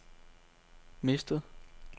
mistet